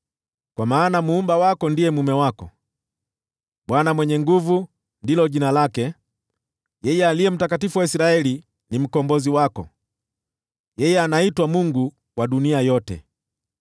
Kwa maana Muumba wako ndiye mume wako, Bwana Mwenye Nguvu Zote ndilo jina lake, yeye Aliye Mtakatifu wa Israeli ni Mkombozi wako, yeye anaitwa Mungu wa dunia yote.